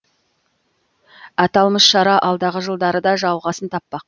аталмыш шара алдағы жылдары да жалғасын таппақ